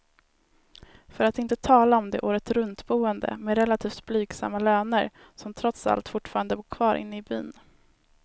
För att inte tala om de åretruntboende med relativt blygsamma löner, som trots allt fortfarande bor kvar inne i byn.